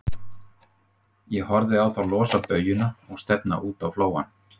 Ég horfði á þá losa baujuna og stefna út á flóann.